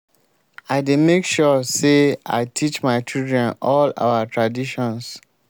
i dey make sure sey i teach my children all our traditions.